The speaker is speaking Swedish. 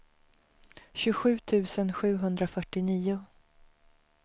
tjugosju tusen sjuhundrafyrtionio